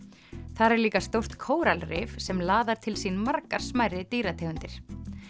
þar er líka stórt kóralrif sem laðar til sín margar smærri dýrategundir